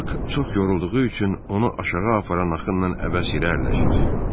Bak çox yorulduğu üçün onu aşağı aparan axınla əbəs irəliləşir.